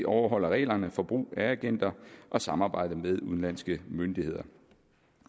overholder reglerne for brug af agenter og samarbejde med udenlandske myndigheder